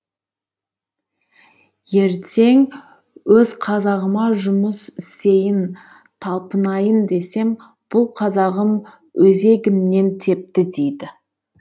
ертең өз қазағыма жұмыс істейін талпынайын десем бұл қазағым өзегімнен тепті дейді